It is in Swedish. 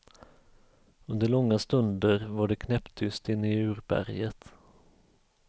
Under långa stunder var det knäpptyst inne i urberget.